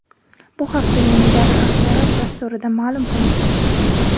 Bu haqda "Yangi davr" axborot dasturida ma’lum qilindi.